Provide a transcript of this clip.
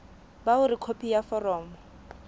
ba hore khopi ya foromo